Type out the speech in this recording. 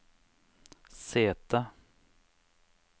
sete